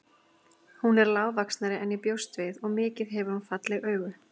Hún er lágvaxnari en ég bjóst við og mikið hefur hún falleg augu.